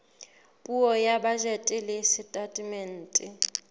puo ya bajete le setatemente